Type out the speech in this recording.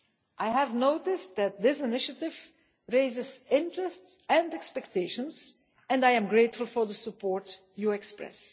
I have noticed that this initiative raises interest and expectations and I am grateful for the support you express.